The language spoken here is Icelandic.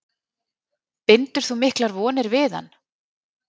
Bindur þú miklar vonir við hann?